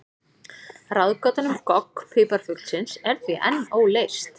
Ráðgátan um gogg piparfuglsins er því enn óleyst.